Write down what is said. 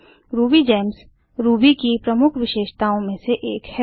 RubyGems Ruby की प्रमुख विशेषताओं में से एक है